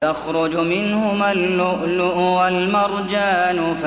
يَخْرُجُ مِنْهُمَا اللُّؤْلُؤُ وَالْمَرْجَانُ